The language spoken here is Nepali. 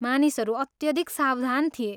मानिसहरू अत्यधिक सावधान थिए।